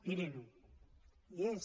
mirin ho hi és